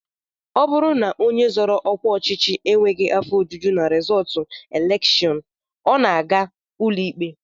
Ọ bụrụ na onye zọrọ ọkwa enweghị afọ ojuju na rizọọtụ elekshọn, ọ na-aga ụlọikpe